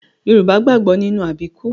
Yorùbá gbàgbọ́ nínú àbíkú